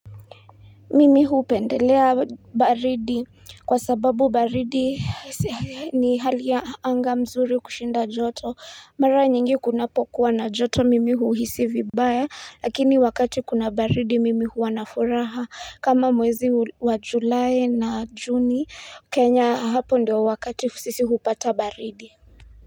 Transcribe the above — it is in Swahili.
Mimi hupendelea baridi kwa sababu baridi ni hali ya anga mzuri kushinda joto mara nyingi kunapokuwa na joto mimi huhisi vibaya lakini wakati kuna baridi mimi huwa na furaha kama mwezi wa july na juni kenya hapo ndio wakati sisi hupata baridi.